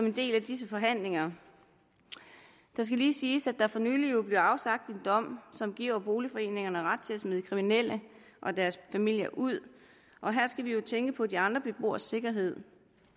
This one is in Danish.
en del af disse forhandlinger det skal lige siges at der for nylig blev afsagt en dom som giver boligforeningerne ret til at smide kriminelle og deres familier ud og her skal vi jo tænke på de andre beboeres sikkerhed